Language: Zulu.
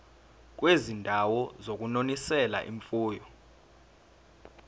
kwizindawo zokunonisela imfuyo